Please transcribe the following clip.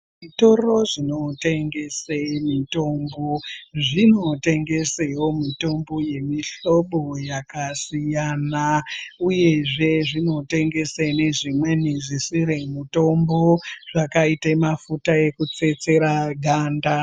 Zvitoro zvinotengese mitombo zvinotengesewo mitombo yemihlobo yakasiyana uyezve zvinotengese nezvimweni zvisiri mutombo zvakaite mafuta ekutsetsera ganda.